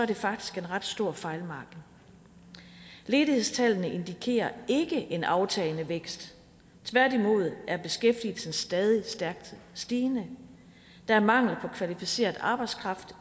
det faktisk en ret stor fejlmargin ledighedstallene indikerer ikke en aftagende vækst tværtimod er beskæftigelsen stadig stærkt stigende der er mangel på kvalificeret arbejdskraft